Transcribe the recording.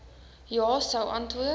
ja sou antwoord